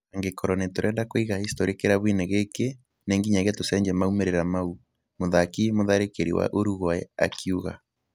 Angĩkorwo nĩ tũrenda kũiga historĩ kĩrabu-inĩ gĩkĩ ,nĩ ngiyagia tũcenjie maumĩrĩra mau " mũthaki mũtharĩkĩri wa Uruguay akiuga.